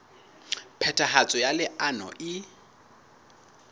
phethahatso ya leano lena e